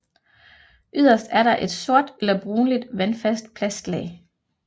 Yderst er der et sort eller brunligt vandfast plastlag